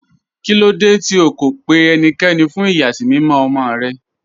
Kílòdé tí ó kó pẹ̀ ẹníkẹ́ní fún iyasimimọ̀ ọmọ́ rẹ̀?